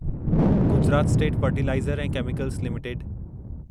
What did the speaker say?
Gujarat state fertiliser ऐं chemicals limited